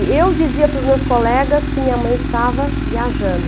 E eu dizia para os meus colegas que minha mãe estava viajando.